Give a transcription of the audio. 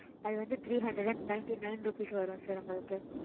அது வந்து three hundred and ninety nine rupees வரும் sir உங்களுக்கு.